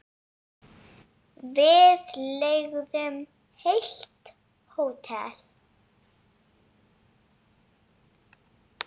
Við leigðum heilt hótel.